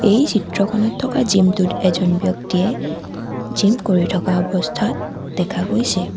এই চিত্ৰখনত থকা জিম টোত এজন ব্যক্তিয়ে জিম কৰি থকা অৱস্থাত দেখা গৈছে।